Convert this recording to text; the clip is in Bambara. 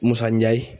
Musa ye